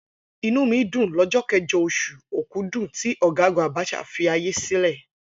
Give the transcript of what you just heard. Inú mi dùn lọ́jọ́ kẹjọ, oṣù Òkudù tí Ọ̀gágùn Abacha filé ayé sílẹ̀.